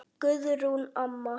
Guðrún amma.